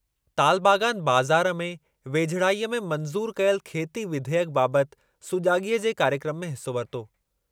तालबागान बज़ारि में वेझिड़ाईअ में मंज़ूर कयल खेती विधेयकु बाबति सुजाॻीअ जे कार्यक्रमु में हिसो वरितो।